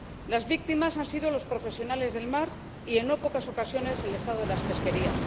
Las víctimas han sido los profesionales del mar y en no pocas ocasiones el estado de las pesquerías.